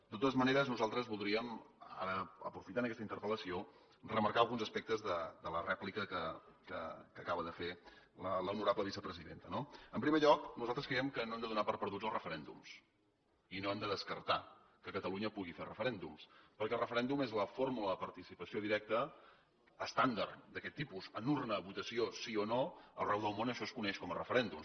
de totes maneres nosaltres voldríem aprofitant aquesta interpel·lació remarcar alguns aspectes de la rèplica que acaba de fer l’honorable vicepresidenta no en primer lloc nosaltres creiem que no hem de donar per perduts els referèndums i no hem de descartar que catalunya pugui fer referèndums perquè el referèndum és la fórmula de participació directa estàndard d’aquest tipus en urna una votació de sí o no arreu del món això es coneix com a referèndum